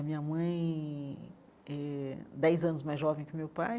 A minha mãe, eh dez anos mais jovem que o meu pai,